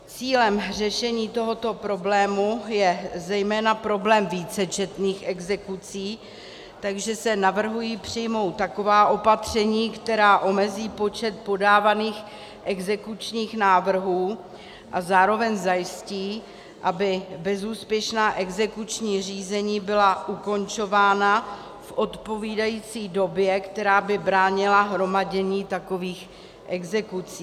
Cílem řešení tohoto problému je zejména problém vícečetných exekucí, takže se navrhují přijmout taková opatření, která omezí počet podávaných exekučních návrhů a zároveň zajistí, aby bezúspěšná exekuční řízení byla ukončována v odpovídající době, která by bránila hromadění takových exekucí.